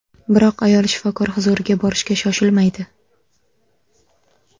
Biroq ayol shifokor huzuriga borishga shoshilmaydi.